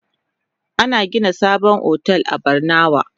An gina sabon otel a Barnawa.